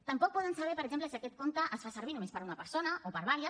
tampoc poden saber per exemple si aquest compte es fa servir només per una persona o per diverses